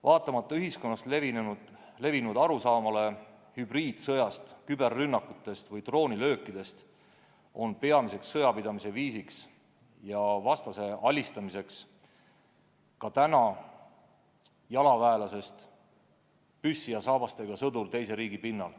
Vaatamata ühiskonnas levinud arusaamale hübriidsõjast, küberrünnakutest või droonilöökidest on peamine sõjapidamise ja vastase alistamise viis ikka jalaväelasest püssi ja saabastega sõdur teise riigi pinnal.